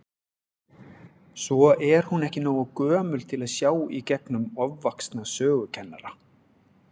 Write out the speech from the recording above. Svo er hún ekki nógu gömul til að sjá í gegnum ofvaxna sögukennara.